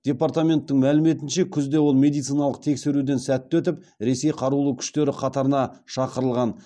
департаменттің мәліметінше күзде ол медициналық тексеруден сәтті өтіп ресей қарулы күштері қатарына шақырылған